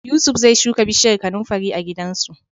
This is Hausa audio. Yusuf zai shuka bishiyar kanunfari a gidansu.